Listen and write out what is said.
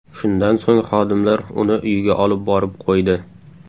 Shundan so‘ng xodimlar uni uyiga olib borib qo‘ydi.